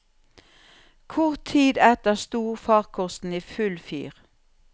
Kort tid etter sto farkosten i full fyr.